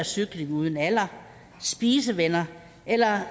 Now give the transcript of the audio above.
cykling uden alder spisevenner eller